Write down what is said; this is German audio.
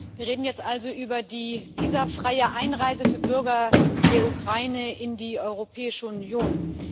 Wir reden jetzt also über die visafreie Einreise für Bürger der Ukraine in die Europäische Union.